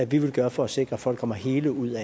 vi vil gøre for at sikre at folk kommer hele ud